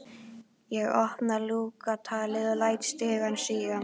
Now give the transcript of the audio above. Ég opna lúgugatið og læt stigann síga.